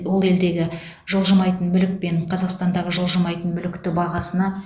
ол елдегі жылжымайтын мүлік пен қазақстандағы жылжымайтын мүлікті бағасына